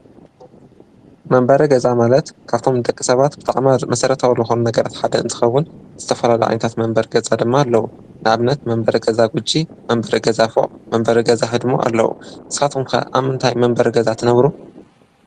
መንበሪ ገዛ ማለት ካብቶም ንደቂ ሰባት ብጣዕሚ መሰረታዊ ዝኮነ ሓደ እንትከዉን ዝተፈላለዩ ኣቑሑት መንበሪ ገዛ ድማ ኣለዉ፡፡ ንኣብነት መንበሪ ገዛ ብቺ፣ መንበሪ ፎቅ፣ መንበሪ ገዛ ህድሞ ኣለዉ። ንስኻትኩም ከ ኣብ ምንታይ መንበሪ ገዛ ትነብሩ?